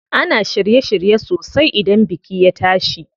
Ana shirye shirye sosai idan biki ya tashi.